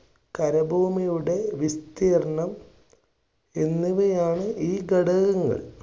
കരഭൂമിയുടെ വിസ്തീർണം എന്നിവയാണ് ഈ ഘടകങ്ങൾ.